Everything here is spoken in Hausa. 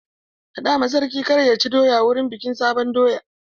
Faɗa ma sarki kar ya ci doya wurin bikin sabon doya!